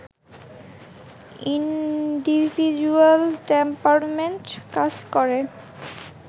individual temperament কাজ করে